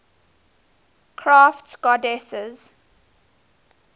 crafts goddesses